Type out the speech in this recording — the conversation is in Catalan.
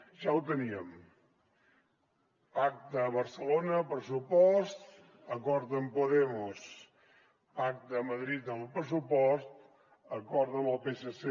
ja ho teníem pacte a barcelona pressupost acord amb podemos pacte a madrid amb el pressupost acord amb el psc